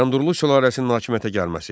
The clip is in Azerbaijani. Bayandurlu sülaləsinin hakimiyyətə gəlməsi.